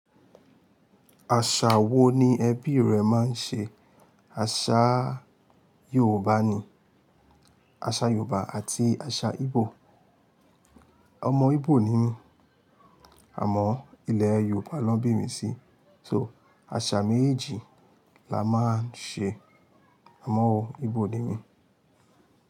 Àṣà wo ni ẹbí rẹ máa ń ṣe? Àṣà Yorùbá ni, àṣà Yorùbá àti àṣà Igbo. Ọmọ Igbo ni mí, àmọ́ ilé Yorùbá lọ bí mi sí, so àṣà méjì la máa ń ṣe. Àmọ́ o, Igbo ni mí.